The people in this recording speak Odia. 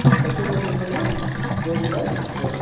ସଚିନ ତେନ୍ଦୁଲ କର ର straight drive best